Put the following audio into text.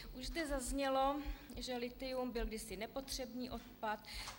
Už zde zaznělo, že lithium byl kdysi nepotřebný odpad.